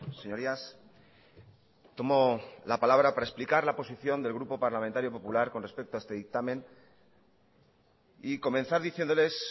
señorías tomo la palabra para explicar la posición del grupo parlamentario popular con respecto a este dictamen y comenzar diciéndoles